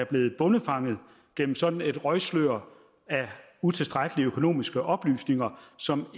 blevet bondefanget gennem sådan et røgslør af utilstrækkelige økonomiske oplysninger som